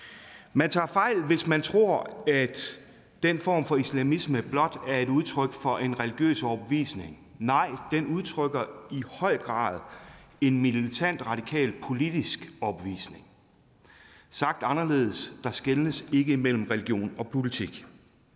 man tager fejl hvis man tror at den form for islamisme blot er et udtryk for en religiøs overbevisning nej den udtrykker i høj grad en militant radikal politisk overbevisning sagt anderledes der skelnes ikke mellem religion og politik